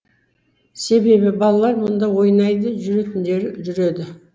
себебі балалар мұнда ойнайды жүретіндері жүреді